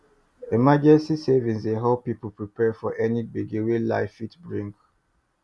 emergency savings dey help people prepare for any gbege wey life fit bring